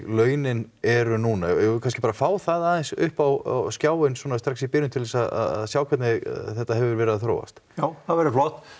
launin eru núna eigum við kannski bara að fá það aðeins upp á skjáinn svona strax í byrjun til þess að sjá hvernig þetta hefur verið að þróast já það væri flott